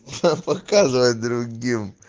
показывать другим